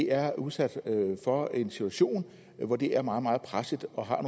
er udsat for en situation hvor de er meget meget pressede og har